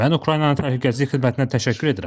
Mən Ukraynanın Təhlükəsizlik Xidmətinə təşəkkür edirəm.